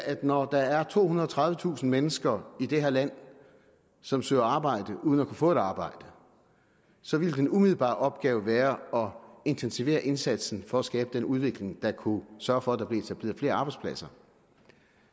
at når der er tohundrede og tredivetusind mennesker i det her land som søger arbejde uden at kunne få et arbejde så ville den umiddelbare opgave være at intensivere indsatsen for at skabe en udvikling der kunne sørge for at der blev etableret flere arbejdspladser